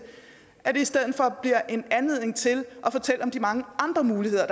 bliver en anledning til at om de mange andre muligheder